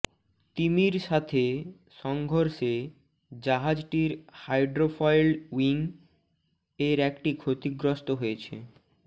তিমির সাথে সংঘর্ষে জাহাজটির হাইড্রোফয়েল উইং এর একটি ক্ষতিগ্রস্ত হয়েছে